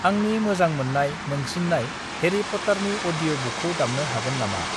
आंननि मोजां मोनसिन्नाय हेरी पत्तरनि अदिय' बुकखौ दामनो हागोन नामा?